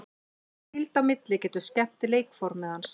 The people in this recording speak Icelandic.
Hvíld á milli getur skemmt leikformið hans.